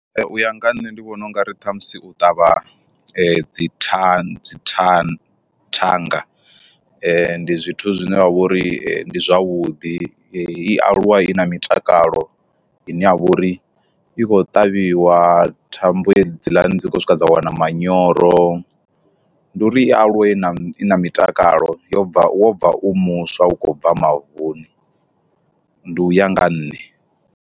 U ya nga nṋe ndi vhona ungari ṱhamusi u ṱavha dzi than dzi thang thanga, ndi zwithu zwine wa vha uri ndi zwavhuḓi i aluwe i na mutakalo ine ya vha uri i khou ṱavhiwa thambo hedziḽani dzi khou swika dza wana manyoro, ndi uri i aluwe na i mitakalo yo bva wo bva u muswa u khou bva mavuni ndi u ya nga nṋe.